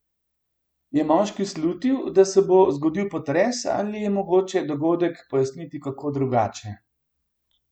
Je moški slutil, da se bo zgodil potres ali je mogoče dogodek pojasniti kako drugače?